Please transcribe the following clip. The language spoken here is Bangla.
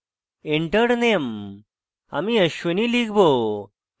enter name: আমি ashwini লিখব